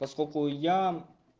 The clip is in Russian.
поскольку я